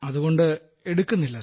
അതുകൊണ്ട് എടുക്കുന്നില്ല സർ